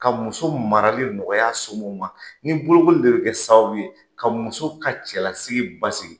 Ka muso marali nɔgɔy'a somɔw ma ni bolokoli de bi kɛ sababu ye ka muso ka cɛlasigi basigi.